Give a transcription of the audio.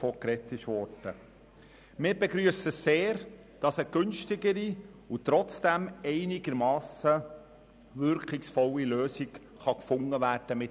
Wir begrüssen sehr, dass eine günstigere und trotzdem einigermassen wirkungsvolle Lösung für die UMA gefunden werden kann.